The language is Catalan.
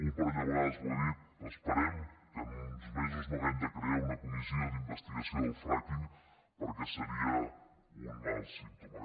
un parell de vegades ho ha dit esperem que en uns mesos no hàgim de crear una comissió d’investigació del fracking perquè seria un mal símptoma